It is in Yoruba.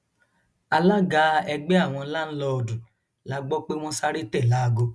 alága ẹgbẹ àwọn láńlọọdù la gbọ pé wọn sáré tẹ láago